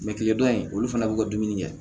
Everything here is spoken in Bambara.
tile dɔ in olu fana b'u ka dumuni kɛ